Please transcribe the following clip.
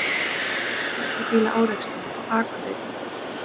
Tveggja bíla árekstur á Akureyri